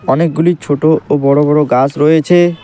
অনেকগুলি ছোট ও বড় বড় গাস রয়েছে।